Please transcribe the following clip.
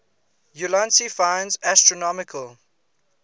ulansey finds astronomical